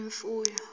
imfuyo